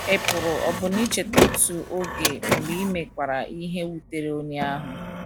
Ị pụrụ ọbụna icheta otu oge mgbe i mekwara ihe wutere onye ahụ.